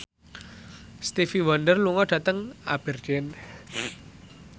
Stevie Wonder lunga dhateng Aberdeen